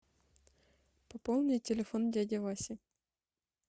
пополни телефон дяди васи